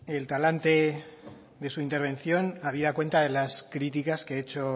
el talante de su intervención habida cuenta de las críticas que he hecho